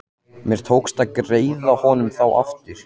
Mér tókst að greiða honum þá aftur.